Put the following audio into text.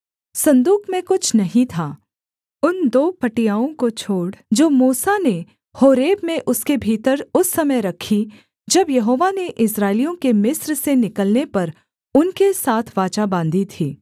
सन्दूक में कुछ नहीं था उन दो पटियाओं को छोड़ जो मूसा ने होरेब में उसके भीतर उस समय रखीं जब यहोवा ने इस्राएलियों के मिस्र से निकलने पर उनके साथ वाचा बाँधी थी